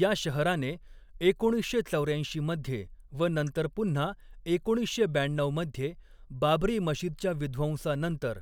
या शहराने एकोणीसशे चौऱ्याऐंशी मध्ये व नंतर पुन्हा एकोणीसशे ब्याण्णऊमध्ये बाबरी मशीदच्या विध्वंसानंतर